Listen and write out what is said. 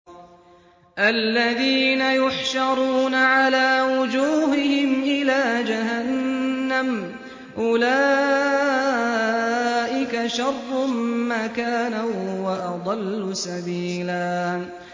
الَّذِينَ يُحْشَرُونَ عَلَىٰ وُجُوهِهِمْ إِلَىٰ جَهَنَّمَ أُولَٰئِكَ شَرٌّ مَّكَانًا وَأَضَلُّ سَبِيلًا